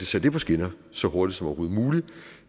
sat det på skinner så hurtigt som overhovedet muligt